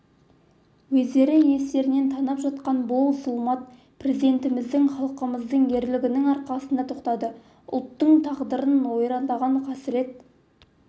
өздері естерінен танып жатқан бұл зұлмат президентіміздің халқымыздың ерлігінің арқасында тоқтады ұлттың тағдырын ойрандаған қасірет